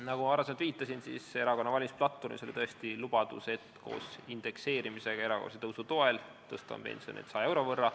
Nagu ma varem viitasin, erakonna valimisplatvormis oli tõesti lubadus, et koos indekseerimisega me erakorralise tõusu toel tõstame pensione 100 euro võrra.